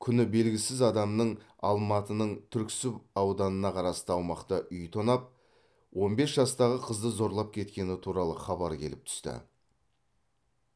күні белгісіз адамның алматының түрксіб ауданына қарасты аумақта үй тонап он бес жастағы қызды зорлап кеткені туралы хабар келіп түсті